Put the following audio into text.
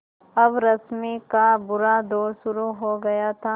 अब रश्मि का बुरा दौर शुरू हो गया था